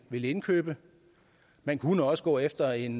vil indkøbe man kunne også gå efter en